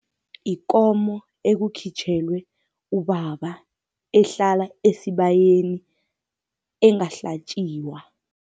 Ikomo ekukhitjhelwe ubaba, ehlala esibayeni engahlatjiwa.